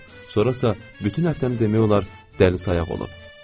Sonra isə bütün həftəni demək olar, dəlisayaq olub.